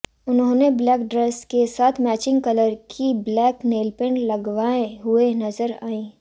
उन्होंने black dress के साथ मैचिंग कलर की ब्लैक नेलपेंट लवगाए हुए नजर आईं